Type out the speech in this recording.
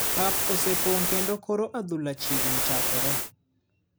Pap osepong kendo koro adhula chiegni chakore .